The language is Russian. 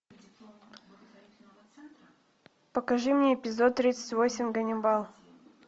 покажи мне эпизод тридцать восемь ганнибал